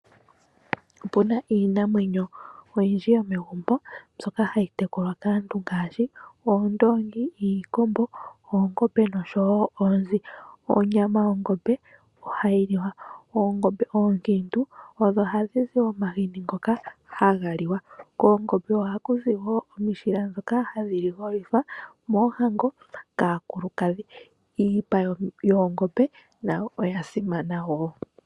Opuna iinamwenyo oyindji yo megumbo mbyoka hayi tekulwa kaantu ngaashi Oondoongi, Iikombo, Oongombe nosho wo Oonzi. Onyama yOngombe ohayi liwa. Oongombe oonkiintu odho hadhi zi omahini ngoka haga liwa. Koongombe oha kuzi wo omishila dhoka hadhi ligolithwa koohango kaakulukadhi. Iipa yOongombe nayo oya simana wo.